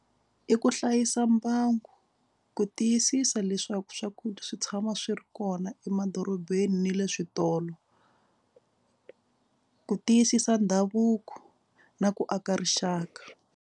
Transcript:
I ku hlayisa mbangu ku tiyisisa leswaku swakudya swi tshama swi ri kona emadorobeni na le switolo. Ku tiyisisa ndhavuko na ku aka rixaka.